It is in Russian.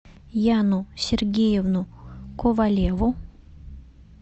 яну сергеевну ковалеву